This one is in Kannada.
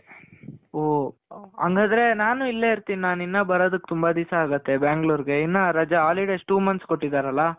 ಹೋ ಹಂಗಾದ್ರೆ ನಾನು ಇಲ್ಲೇ ಇರ್ತೀನಿ. ನಾನು ಇನ್ನು ಬರೋದುಕ್ ತುಂಬ ದಿಸ ಆಗುತ್ತೆ ಬ್ಯಾಂಗಳೂರ್ಗೆ, ಇನ್ನ ರಜ holidays two months ಕೊಟ್ಟಿದಾರಲ .